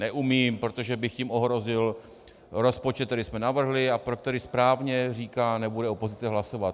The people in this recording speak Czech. Neumím, protože bych jim ohrozil rozpočet, který jsme navrhli a pro který, správně říká, nebude opozice hlasovat.